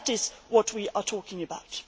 That is what we are talking about.